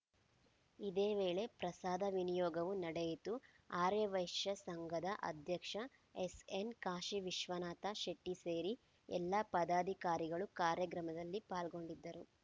ಇದೇ ವೇಳೆ ಪ್ರಸಾದ ವಿನಿಯೋಗವೂ ನಡೆಯಿತು ಆರ್ಯವೈಶ್ಯ ಸಂಘದ ಅಧ್ಯಕ್ಷ ಎಸ್‌ಎನ್‌ಕಾಶಿವಿಶ್ವನಾಥ ಶೆಟ್ಟಿಸೇರಿ ಎಲ್ಲ ಪದಾಧಿಕಾರಿಗಳು ಕಾರ್ಯಕ್ರಮದಲ್ಲಿ ಪಾಲ್ಗೊಂಡಿದ್ದರು